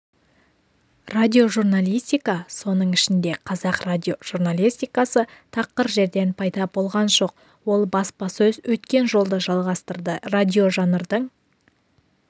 радиожурналистика соның ішінде қазақ радиожурналистикасы тақыр жерден пайда болған жоқ ол баспасөз өткен жолды жалғастырды радиожанрдың